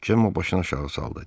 Cemma başını aşağı saldı.